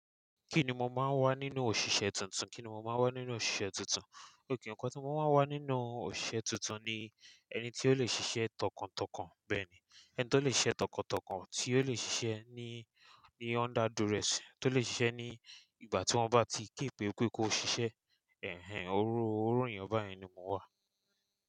Kí ni mo máa ń wà nínú òṣìṣẹ́ tuntun? Kí ni mo máa ń wà nínú òṣìṣẹ́ tuntun? Óun kan tí mo máa ń wà nínú òṣìṣẹ́ tuntun ni ẹni tí ó lè ṣiṣẹ́ tọkàntọkàn bẹ́ẹ̀ ni, ẹni tó lè ṣe tọkàntọkàn, tí ó lè ṣiṣẹ́ ní, ní under duress, tó lè ṣiṣẹ́ ní ìgbà tí wọ́n bá ti képe pé kó ṣiṣẹ́. Iru ènìyàn báyìn ni mo wà.